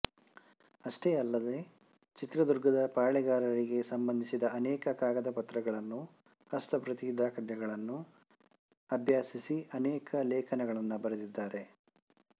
ಅಷ್ಟೇ ಅಲ್ಲದೇ ಚಿತ್ರದುರ್ಗದ ಪಾಳೆಯಗಾರರಿಗೆ ಸಂಭಂಧಿಸಿದ ಅನೇಕ ಕಾಗದ ಪತ್ರಗಳನ್ನು ಹಸ್ತಪ್ರತಿ ದಾಖಲೆಗಳನ್ನೂ ಅಭ್ಯಸಿಸಿ ಅನೇಕ ಲೇಖನಗಳನ್ನು ಬರೆದಿದ್ದಾರೆ